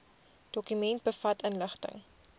dokument bevat inligting